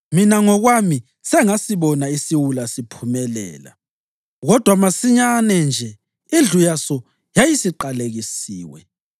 Mina ngokwami sengasibona isiwula siphumelela, kodwa masinyane nje indlu yaso yayisiqalekisiwe.